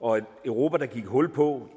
og et europa der gik hul på